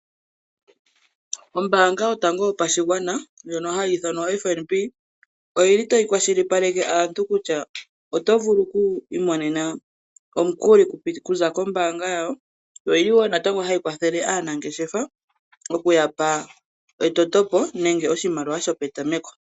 Ombaanga yotango yopashigwana ndjono hayi ithanwa FNB , oyili tayi kwashilipaleke aantu kutya oto vulu okwiimonena omukuli okuza kombaanga yawo. Oyili wo natango hayi kwathele aanangeshefa okuya pa etotopo nenge oshimaliwa shopetameko.